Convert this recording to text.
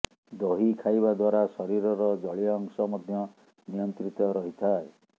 ଦହି ଖାଇବା ଦ୍ୱାରା ଶରୀରର ଜଳୀୟଅଂଶ ମଧ୍ୟ ନିୟନ୍ତ୍ରିତ ରହିଥାଏ